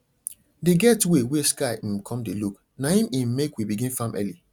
dey get way wey sky um con dey look na im im make we begin farm early